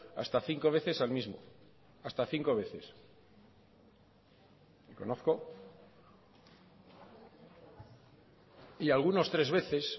hasta cinco veces al mismo hasta cinco veces y algunos tres veces